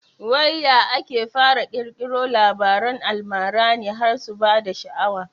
Wai ya ake fara ƙirkiro Labaran almara ne har su bada sha'awa